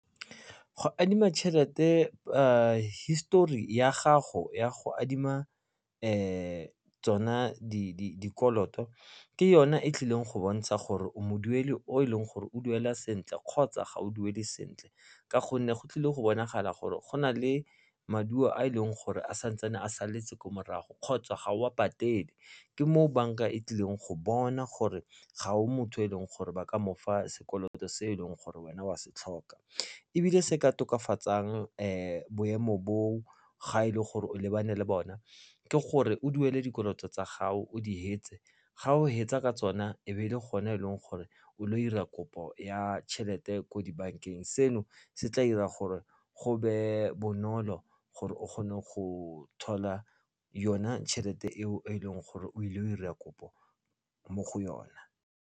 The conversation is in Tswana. Go adima tšhelete hisetori ya gago ya go adima tsona dikoloto ke yona e tlileng go bontsha gore o modueli o e leng gore o duela sentle kgotsa ga o duele sentle ka gonne go tlile go bonagala gore go na le maduo a e leng gore a santse a saletse ko morago kgotsa ga o a patele ke moo bank-a e tlileng go bona gore ga o motho o leng gore ba ka mofa sekoloto se eleng gore wena wa se tlhoka, ebile se ka tokafatsang boemo bo ga e le gore o lebane le bone ke gore o duele dikoloto tsa gago o di hetse ga o hetsa ka tsona e be e le gone e leng gore o dira kopo ya tšhelete ko dibank-eng seno se tla dira gore go be bonolo gore o kgone go thola yona tšhelete eo e leng gore o ile go dira kopo mo go yona.